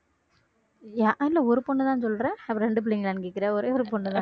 இல்ல ஒரு பொண்ணுதான் சொல்ற அப்போ ரெண்டு பிள்ளைங்களான்னு கேட்கிற ஒரே ஒரு பொண்ணுதான்